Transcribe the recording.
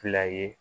Fila ye